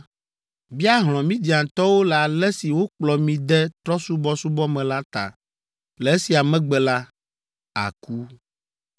“Bia hlɔ̃ Midiantɔwo le ale si wokplɔ mi de trɔ̃subɔsubɔ me la ta. Le esia megbe la, àku.”